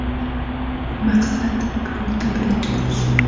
Maqsad guruhda birinchi bo‘lish.